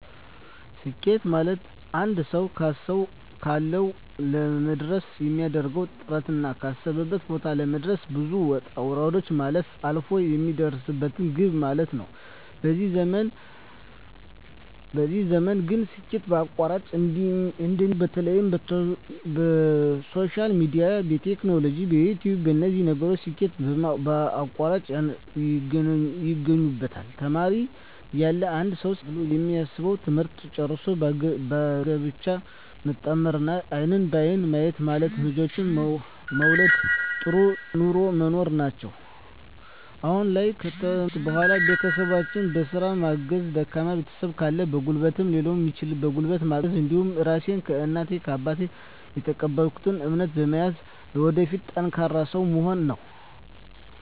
ስኬት ማለትአንድ ሰዉ ካሰዉ ለመድረስ የሚያደርገዉ ጥረትና ካሰበበት ቦታ ለመድረስ ብዙ ዉጣ ዉረዶችን ማለፍ አልፍ የሚደርስበት ግብ ማለት ነዉ በዚህ ዘመን ግን ስኬት በአቋራጭ እንደሚባለዉ በተለይ በሶሻል ሚድያ በቲክቶክ በዩትዩብ በነዚህ ነገሮች ስኬት በአቋራጭ ያገኙበታል ተማሪ እያለ አንድ ሰዉ ስኬት ብሎ የሚያስበዉ ትምህርትን ጨርሶ በጋብቻ መጣመርና አይንን በአይን ማየት ማለትም ልጆችን መዉለድ ጥሩ ኑሮ መኖር ናቸዉ አሁን ላይ ከትምህርት በኋላ ቤተሰቦቸን በስራ ማገዝ ደካማ ቤተሰብ ካለ በጉልበትም ሊሆን ይችላል በጉልበት ማገዝ እንዲሁም ራሴን ከእናት ከአባት የተቀበልኩትን እምነት በመያዝ ለወደፊት ጠንካራ ሰዉ መሆን ነዉ